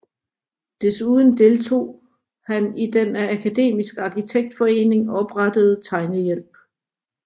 Desuden deltog han i den af Akademisk Arkitektforening oprettede tegnehjælp